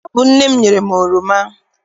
Ọ bụ nne m nyere m oroma.